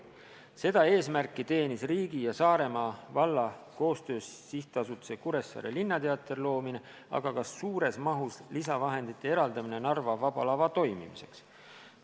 Seda eesmärki teenis riigi ja Saaremaa valla koostöös sihtasutuse Kuressaare Linnateater loomine, aga ka suures mahus lisavahendite eraldamine Narva Vaba Lava toimimiseks.